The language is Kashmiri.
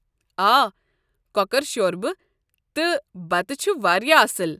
آ، کۄکر شوربہٕ تہٕ بتہٕ چھُ واریاہ اصٕل ۔